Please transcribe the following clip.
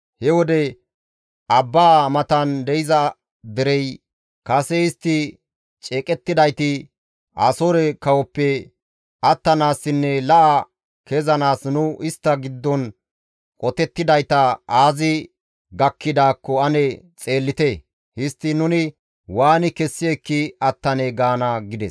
He wode abbaa matan de7iza derey, ‹Kase istti ceeqettidayti, Asoore kawoppe attanaassinne la7a kezanaas nu istta giddon qotettidayta aazi gakkidaakko ane xeellite; histtiin nuni waani kessi ekki attanee? gaana› » gides.